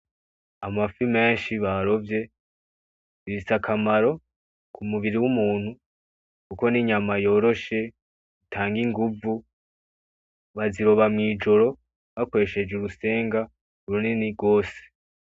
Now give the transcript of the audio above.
Amafi menshi barovye zifis' akamaro k' umuburi w' umuntu kuko n' inyama yoroshe itang' inguvu bazoroba mw' ijoro bakoreshej' urusenga runini gose.